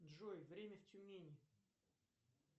джой время в тюмени